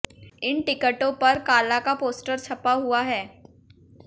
इन टिकटों पर काला का पोस्टर छपा हुआ है